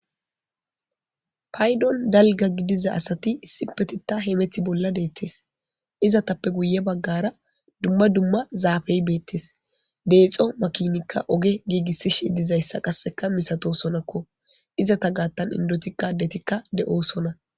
paydon dalga gidiza asati isipetita heemethi bolla deettes izatappe guye baggara dumma dumma zaafey beettes deexo makinikka oge giigissishe dizayssa qasseka misato sonakko izata gaattan indoti kadetikka de'oosona